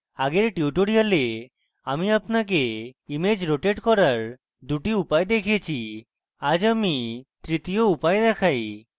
আগের tutorials আমি আপনাকে image rotate করার দুটি উপায় দেখিয়েছি এবং আজ তৃতীয় উপায় দেখাই